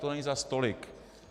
To není zas tolik.